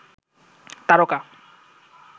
তারকা